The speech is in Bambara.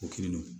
O kini don